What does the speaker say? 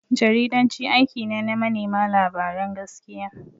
Jaridanci aiki ne na manema labaran gaskiya.